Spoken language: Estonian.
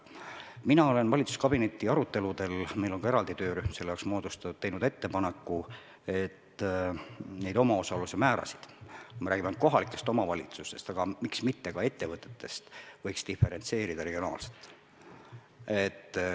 Mina olen valitsuskabineti aruteludel – meil on ka eraldi töörühm selle jaoks moodustatud – teinud ettepaneku, et neid omaosaluse määrasid, kui me räägime ainult kohalikest omavalitsustest, aga miks mitte ka ettevõtetest, võiks diferentseerida regionaalselt.